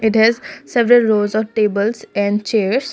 there certain rows of tables and chairs.